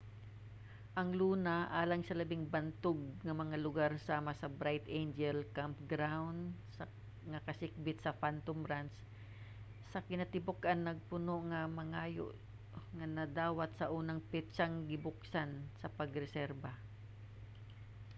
ang luna alang sa labing bantog nga mga lugar sama sa bright angel campground nga kasikbit sa phantom ranch sa kinatibuk-an napuno sa mga hangyo nga nadawat sa unang petsang gibuksan sa pagreserba